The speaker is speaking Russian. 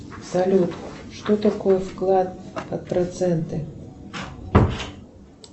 салют что такое вклад под проценты